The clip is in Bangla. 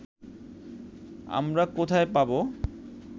আমরা কোথায় পাব